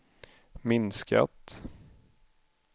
minskat